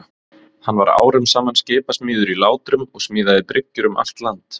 Hann var árum saman skipasmiður í Látrum og smíðaði bryggjur um allt land.